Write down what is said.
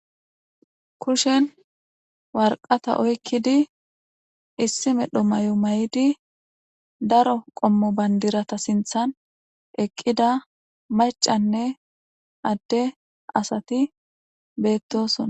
Kushshen woraqqaththa oyikidi issi medhdho mayo mayidhdhi daro qomo baniddiraththa sinththan eqqida mac'anne adde asati bettosona